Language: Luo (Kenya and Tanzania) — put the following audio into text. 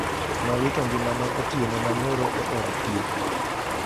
Nowito ngimane otieno manyoro e od thieth.